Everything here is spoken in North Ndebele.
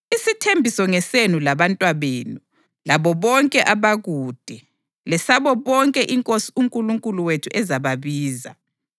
Isithembiso ngesenu labantwabenu labo bonke abakude, lesabo bonke iNkosi uNkulunkulu wethu ezababiza.”